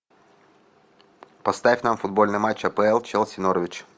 поставь нам футбольный матч апл челси норвич